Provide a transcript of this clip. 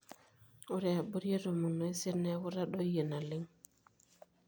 ore abori etomon oisiet neeku itadoyie naleng